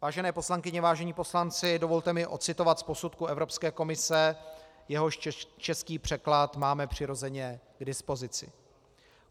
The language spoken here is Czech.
Vážené poslankyně, vážení poslanci, dovolte mi ocitovat z posudku Evropské komise, jehož český překlad máme přirozeně k dispozici.